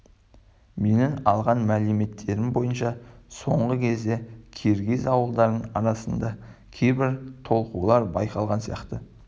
менің алған мәліметтерім бойынша соңғы кезде киргиз ауылдарының арасында кейбір толқулар байқалған сияқты